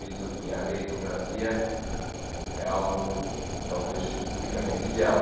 E a meritocracia é algo, talvez, unicamente ideal.